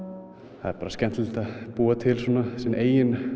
það er bara skemmtilegt að búa til sinn eigin